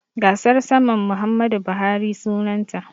Gasar saman Muhammadu Buhari sunanta.